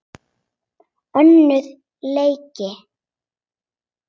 Önnur lygi.